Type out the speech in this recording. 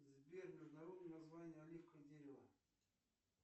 сбер международное название оливкового дерева